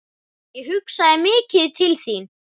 Ég hugsaði mikið til þín.